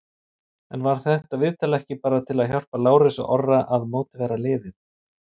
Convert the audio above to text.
En var þetta viðtal ekki bara til að hjálpa Lárusi Orra að mótivera liðið?